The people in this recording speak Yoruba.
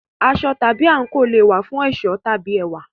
Aṣọ/àǹkò tún le è wà fún ẹ̀ṣọ́ tàbí ẹwà.